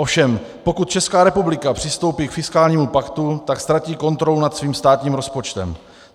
Ovšem pokud Česká republika přistoupí k fiskálnímu paktu, tak ztratí kontrolu nad svým státním rozpočtem.